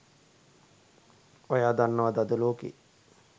ඔයා දන්නවද අද ලෝකෙ